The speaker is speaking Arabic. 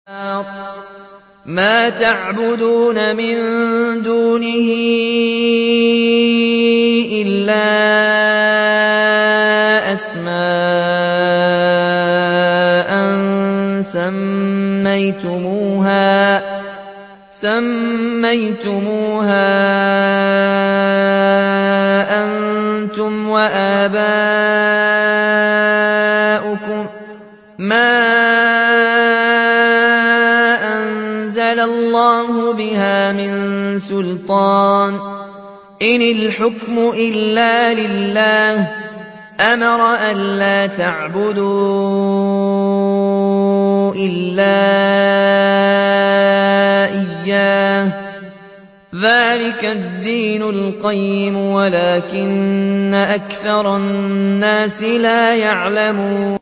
مَا تَعْبُدُونَ مِن دُونِهِ إِلَّا أَسْمَاءً سَمَّيْتُمُوهَا أَنتُمْ وَآبَاؤُكُم مَّا أَنزَلَ اللَّهُ بِهَا مِن سُلْطَانٍ ۚ إِنِ الْحُكْمُ إِلَّا لِلَّهِ ۚ أَمَرَ أَلَّا تَعْبُدُوا إِلَّا إِيَّاهُ ۚ ذَٰلِكَ الدِّينُ الْقَيِّمُ وَلَٰكِنَّ أَكْثَرَ النَّاسِ لَا يَعْلَمُونَ